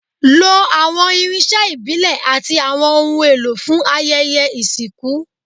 Lo awọn irinṣẹ ibile ati awọn ohun elo fun ayẹyẹ isinku